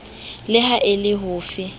le ha e le hofe